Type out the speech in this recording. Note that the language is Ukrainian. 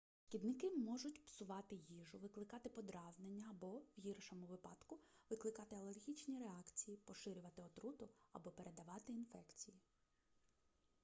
шкідники можуть псувати їжу викликати подразнення або в гіршому випадку викликати алергічні реакції поширювати отруту або передавати інфекції